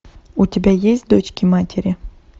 у тебя есть дочки матери